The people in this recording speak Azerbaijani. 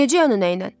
Necə yəni nə ilə?